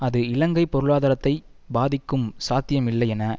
அது இலங்கை பொருளாதாரத்தை பாதிக்கும் சாத்தியம் இல்லை என